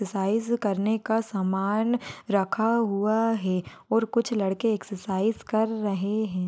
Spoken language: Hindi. साइज़ करने का सामान रखा हुआ है और कुछ लड़के एक्ससरसाइज कर रहे है।